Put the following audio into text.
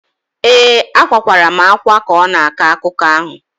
ee, akwakwara m ákwá ka ọ na-akọ akụkọ ahụ